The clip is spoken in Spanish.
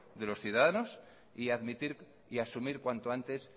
de los ciudadanos y admitir y asumir cuanto antes